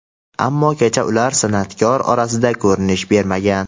ammo kecha ular san’atkorlar orasida ko‘rinish bermagan.